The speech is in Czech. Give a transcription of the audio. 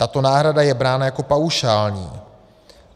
Tato náhrada je brána jako paušální.